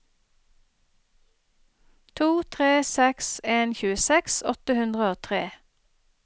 to tre seks en tjueseks åtte hundre og tre